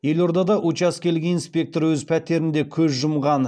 елордада учаскелік инспектор өз пәтерінде көз жұмған